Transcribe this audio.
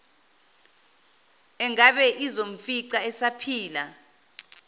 engabe izomfica esaphila